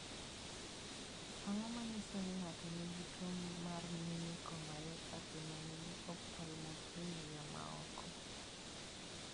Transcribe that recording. Ang�o ma nyiso ni ng�ato nigi tuo mar Minicore myopathy man gi ophthalmoplegia� ma oko?